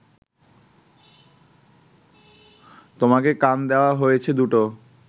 তোমাকে কান দেওয়া হয়েছে দুটো